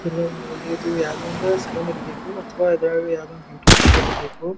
ತಿರ್ಗಾ ಹಿಂಗ್ ನೋಡಿದ್ರ ಇದು ಯಾವದೋ ಒಂದು ಸಲೂನ್ ಇರಬೇಕು ಅಥವಾ ಇದ್ ಯಾವದೋ ಒಂದು ಬ್ಯೂಟಿ ಪಾರ್ಲರ್ ಇರಬೇಕು.